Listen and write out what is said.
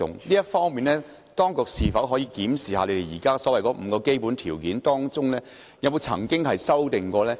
就這方面，當局能否檢視現時所謂的5個基本條件，以及曾否作出修訂？